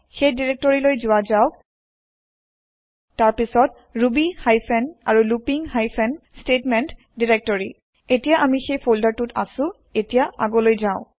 সেই দাইৰেক্টৰি লৈ যোৱা যাওক তাৰ পিছত ৰুবি হাইফেন আৰু লুপিং হাইফেন স্তেতমেন্ত দাইৰেক্টৰি এতিয়া আমি সেই ফোল্ডাৰ টোত আছো এতিয়া আগলৈ যাও